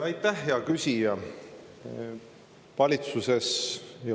Aitäh, hea küsija!